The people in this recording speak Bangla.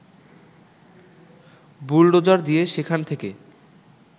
বুলডোজার দিয়ে সেখান থেকে